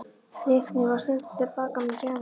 Leiknir var sendur til baka með gjafirnar.